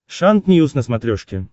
шант ньюс на смотрешке